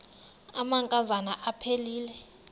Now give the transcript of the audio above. amanka zana aphilele